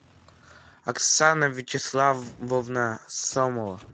оксана вячеславовна сомова